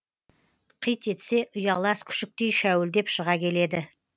қит етсе ұялас күшіктей шәуілдеп шыға келеді